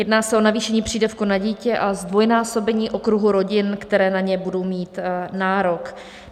Jedná se o navýšení přídavku na dítě a zdvojnásobení okruhu rodin, které na něj budou mít nárok.